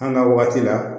An ka waati la